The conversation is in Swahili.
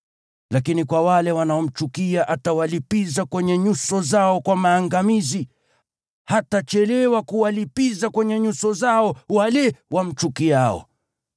Lakini kwa wale wanaomchukia atawalipiza kwenye nyuso zao kwa maangamizi; hatachelewa kuwalipiza kwenye nyuso zao wale wamchukiao.